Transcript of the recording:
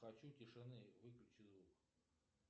хочу тишины выключи звук